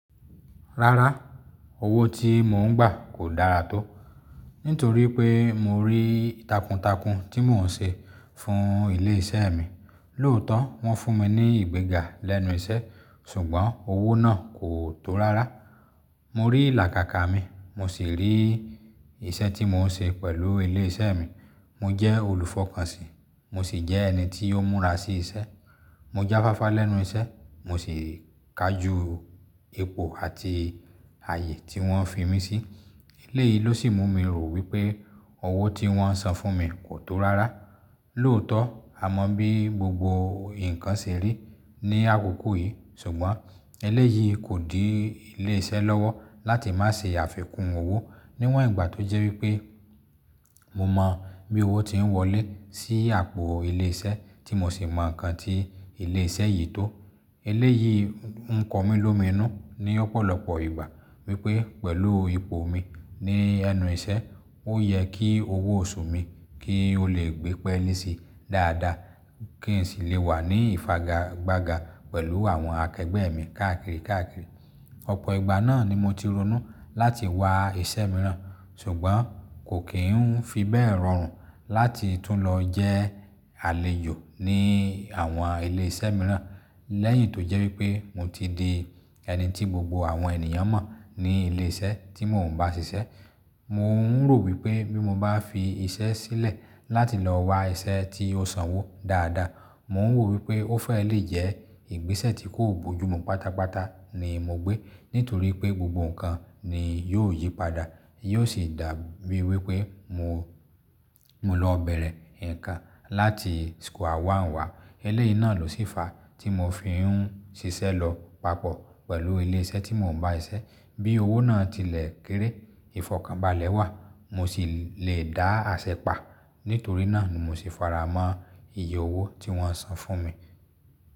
Rárá, owó tí mò ń gbà kò dáara tó, nítorí pé mo rí tàkùntàkùn tí mò ń ṣe fún ilé iṣẹ́ mi. Lóòótọ́ wọ́n fún mi ní ìgbéga lẹ́nu iṣẹ́ ṣùgbọ́n owó náà kò tó rárá. Mo rí ìlàkàkà mi, mo sì rí iṣẹ́ tí mò ń ṣe pẹ̀lú ilé iṣẹ́ mi. Mo jẹ́ olùfọkànsìn, mo sì jẹ́ ẹni to múra sí iṣẹ́. Mo jáfáfá lẹ́nu iṣẹ́, mo sì kaju ipo àti ààyè tí wọ́n fi mí sí. Ilé yìí ló sì mú mi rò wípé owó tí wọ́n san fún mi kò tó rárá. Lóòótọ́ a mọ bí gbogbo nǹkan ṣe rí ní àkókò yìí, ṣùgbọ́n eléyìí kò di ilé iṣẹ́ lọ́wọ́ láti má ṣe àfikún owó níwọ̀n ìgbà tó jẹ́ wípé mo mọ bí owó tí ń wọlé sí àpò ilé iṣẹ́, tí mo sì mọ ǹkan tí ilé iṣẹ́ yìí tó. Eléyìí ńkọ́ mi lómi nù ní ọ̀pọ̀lọpọ̀ ìgbà wípé pẹ̀lú ipò mi ní ẹnu iṣẹ́ ó yẹ kí owó oṣù mi kí ó lè gbé pẹ́lisì dáadáa kí n sì lè wà ní ìfagagbága pẹ̀lú àwọn elegbẹ́ mi káàkiri káàkiri. Ọ̀pọ̀ ìgbà náà ni mo ti ronú láti wá iṣẹ́ mìíràn ṣùgbọ́n kò kí ń fi bẹ́ẹ̀ rọrùn láti tún lọ jẹ́ àlejò ní àwọn ilé iṣẹ́ mìíràn lẹ́yìn tó jẹ́ wípé mo ti di ẹni tí gbogbo àwọn ènìyàn mọ̀ ní ilé iṣẹ́ tí mò ń bá ṣiṣẹ́. Mo ń rò wípé bí mo bá fi iṣẹ́ sílẹ̀ láti lọ wa iṣẹ́ tí ó n sanwó dáadáa, mo ń wò wípé ó fẹ́ lè jẹ́ ìgbésẹ̀ tí kò bojumu pátápátá ni mo gbé, nítorí pé gbogbo nǹkan ni yóò yí padà. Yóò sì dàbi wípé, mo lọ bẹ̀rẹ̀ nǹkan láti square one wà. Eléyìí náà ló sì fa tí mo fi ń ṣiṣẹ́ lọ papọ̀ pẹ̀lú ilé iṣẹ́ tí mò ń bá iṣẹ́ bí owó náà tilẹ̀ kéré. Ìfọ̀kànbalẹ̀ wà mo sì le dá àṣẹ pa. Nítorí náà ni mo sì faramọ́ ìyè owó tí wọ́n san fún mi.